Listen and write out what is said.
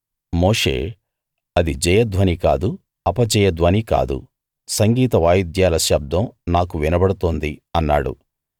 మోషే అది జయ ధ్వని కాదు అపజయ ధ్వని కాదు సంగీత వాయిద్యాల శబ్దం నాకు వినబడుతోంది అన్నాడు